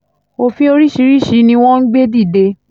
òfin oríṣiríṣiì ni wọ́n ń gbé dìde